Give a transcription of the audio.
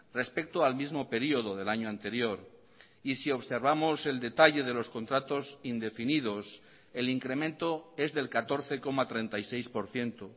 respecto al mismo período del año anterior y si observamos el detalle de los contratos indefinidos el incremento es del catorce coma treinta y seis por ciento